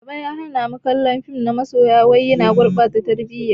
Baba ya hana mu kallon fim na masoya wai yana gurɓata tarbiyya.